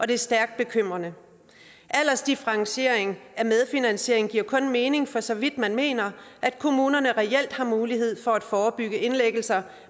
det er stærkt bekymrende aldersdifferentiering af medfinansiering giver kun mening for så vidt man mener at kommunerne reelt har mulighed for at forebygge indlæggelser